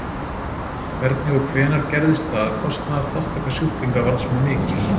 Hvernig og hvenær gerðist það að kostnaðarþátttaka sjúklinga varð svona mikil?